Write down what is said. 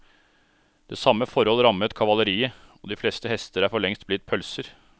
Det samme forhold rammet kavaleriet, og de fleste hester er forlengst blitt pølser.